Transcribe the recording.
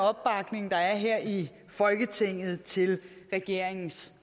opbakning der er her i folketinget til regeringens